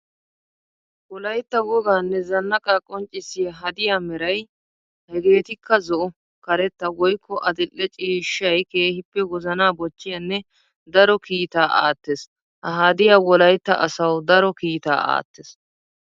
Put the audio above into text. Wolaytta woganne zanaaqa qonccissiya hadiya meray hegeetikka zo'o, karetta woykko adli'ee cishshay keehippe wozana bochchiyanne daro kiitta aattes. Ha hadiya wolaytta asawu daro kiitta aates.